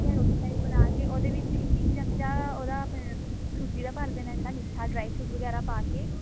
ਠੀਕ ਹੈ ਰੋਟੀ type ਬਣਾਕੇ ਉਹਦੇ ਵਿੱਚ ਇੱਕ ਇੱਕ ਚਮਚਾ ਉਹਦਾ ਸੂਜੀ ਦਾ ਭਰ ਦੇਣਾ ਜਿਹੜਾ ਮਿੱਠਾ dry fruit ਵਗੇਰਾ ਪਾ ਕੇ